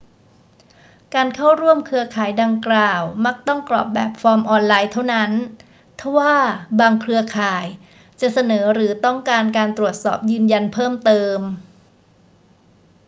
การเข้าร่วมเครือข่ายดังกล่าวมักต้องกรอกแบบฟอร์มออนไลน์เท่านั้น ทว่าบางเครือข่ายจะเสนอหรือต้องการการตรวจสอบยืนยันเพิ่มเติม